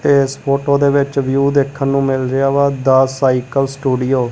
ਇਸ ਫੋਟੋ ਦੇ ਵਿੱਚ ਵਿਊ ਦੇਖਣ ਨੂੰ ਮਿਲ ਰਿਹਾ ਵਾ ਦਾ ਸਾਈਕਲ ਸਟੂਡੀਓ ।